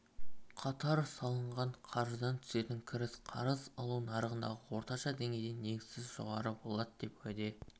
қатар салынған қаржыдан түсетін кіріс қарыз алу нарығындағы орташа деңгейден негізсіз жоғары болады деп уәде